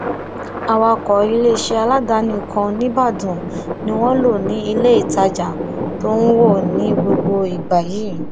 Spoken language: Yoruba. awakọ iléeṣẹ aládàáni kan nìbàdàn ni wọn lò ní ilé ìtajà tó ń wọ ní gbogbo ìgbà yìí